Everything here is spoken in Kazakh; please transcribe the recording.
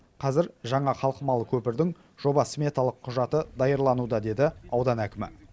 қазір жаңа қалқымалы көпірдің жоба сметалық құжаты даярлануда деді аудан әкімі